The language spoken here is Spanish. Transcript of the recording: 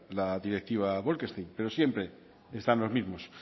la directiva bolkestein pero siempre están los mismos